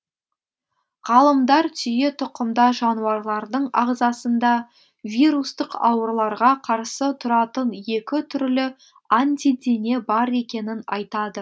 ғалымдар түйетұқымдас жануарлардың ағзасында вирустық ауруларға қарсы тұратын екі түрлі антидене бар екенін айтады